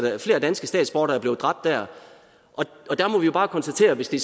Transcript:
er flere danske statsborgere der er blevet dræbt der og der må vi jo bare konstatere at hvis det